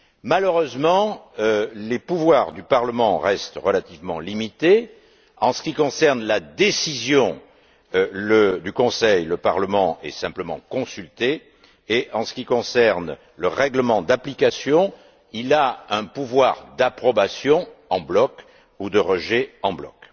Malheureusement, les pouvoirs du Parlement restent relativement limités. En ce qui concerne la décision du Conseil, le Parlement est simplement consulté et, en ce qui concerne le règlement d'application, il a un pouvoir d'approbation en bloc ou de rejet en bloc.